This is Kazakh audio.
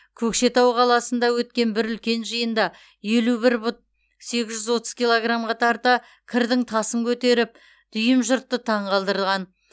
көкшетау қаласында өткен бір үлкен жиында елу бір пұт сегіз жүз отыз килограммға тарта кірдің тасын көтеріп дүйім жұртты таңғалдырған